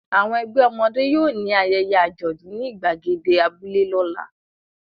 Àwọn ẹgbẹ́ ọmọdé yóò ní ayẹyẹ àjọ̀dún ní ìgbàgede abúlé lọ́la.